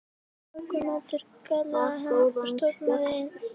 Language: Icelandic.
Morgunmatur galaði hann og stormaði inn.